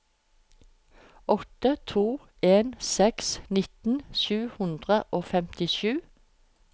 åtte to en seks nitten sju hundre og femtisju